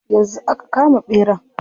Yanzu aka kama ɓeran.